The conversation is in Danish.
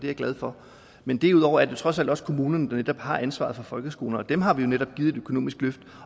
jeg glad for men derudover er det jo trods alt kommunerne der har ansvaret for folkeskolerne og dem har vi netop givet et økonomisk løft